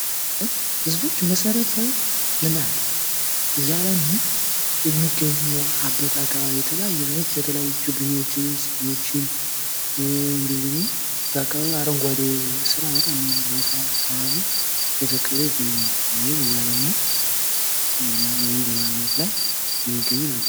ህዝቦች የመሰረተ ልማት እያለሙ የሚገኙበት አካባቢ የተለያዩ ህዝቦች የተለያዩ ችግኞች ፣ፅዶች እንዲሁም ደግሞ በአካባቢው አረንጓዴ ስራ በጣም አካባቢ እየተከሉ ይገኛሉ ወይም እያለሙ ይገኛሉ ። የሚገኙ ናቸው ።